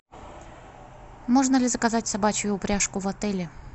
можно ли заказать собачью упряжку в отеле